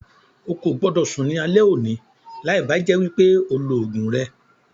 Ó kó gbọ́dọ̀ sún ní alẹ́ òní láì bá jẹ́ wípé o lọ ogún rẹ.